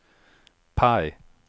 PIE